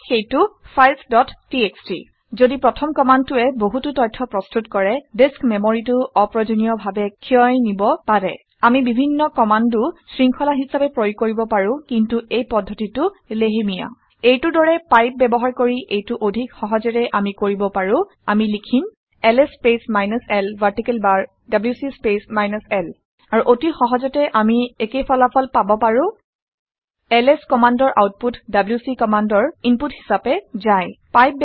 ইয়াত সেইটো - files dot TXT ঘদি প্ৰথম কামাণ্ডটোৱে কিছু বহুতো তথ্য প্ৰস্তুত কৰে ডিচ্ক মেমৰীটো অপ্ৰয়োজনীয় ডাৱে ক্ষয় নিব পাৰে। আমি বিভিন্ন কামাণ্ডো শৃং্খলা হিচাবে প্ৰয়োগ কৰিব পাৰোঁ কিন্তু এই পদ্ধতিটো লেহেমীয়া। এইটোৰ দৰে পাইপ ব্যৱহাৰ কৰি এইটো অধিক সহজেৰে আমি কৰিব পাৰো। আমি লিখিম - LS space minus l vertical bar WC space minus l আৰু অতি সহজতে আমি একোফল একে ফলাফল পাব পাৰো। এলএছ কমাণ্ডৰ আউটপুট ডব্লিউচি কমাণ্ডৰ ইনপুট হিচাপে যায়